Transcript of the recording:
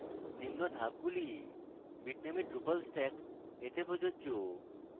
নিম্ন ধাপগুলি bitnami drupal stack এ প্রযোজ্য